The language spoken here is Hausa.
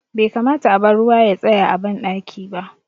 Bai kamata a bar ruwa ya tsaya a ban ɗaki ba